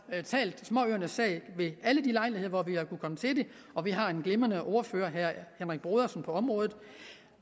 talt småøernes sag ved alle de lejligheder hvor vi har kunnet komme til det og vi har en glimrende ordfører på området